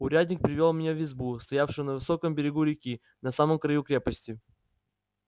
урядник привёл меня в избу стоявшую на высоком берегу реки на самом краю крепости